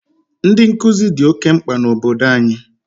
Ndị nkuzi dị oke mkpa na obodo anyị.